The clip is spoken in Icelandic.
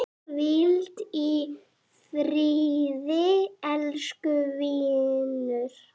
Hvíl í friði, elsku vinur.